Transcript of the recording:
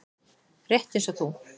Rétt eins og þú.